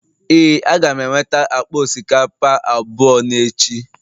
Ee, Aga m enweta akpa osikapa abụọ n'echi